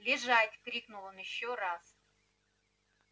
лежать крикнул он ещё раз